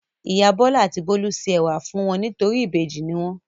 Ìyá Bọ́lá àti Bólú se ẹ̀wà fún wọn nítorí ìbejì ni wọ́n.